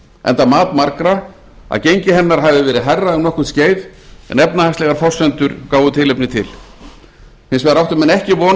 enda mat margra að gengi hennar hafi verið hærra um nokkurt skeið en efnahagslegar forsendur gáfu tilefni til hins vegar áttu menn ekki von á